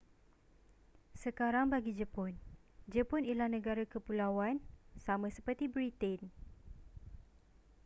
sekarang bagi jepun jepun ialah negara kepulauan sama seperti britain